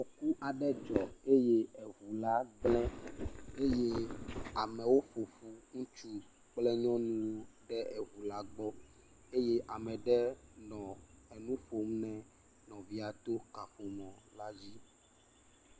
Afɔku aɖe dzɔ eye eŋu la gblẽ, eye amewo ƒo ƒu ŋutsu kple nyɔnuwo ɖe eŋu la gbɔ eye ame aɖe nɔ enu ƒom nɛ nɔvia to kaƒomɔ la dzi.